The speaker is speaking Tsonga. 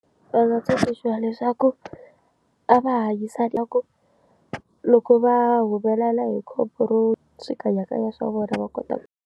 Va nga tsundzuxa leswaku a va hanyisaka ku loko va humelela hi khombo ro xikanyakanya swa vona va kota.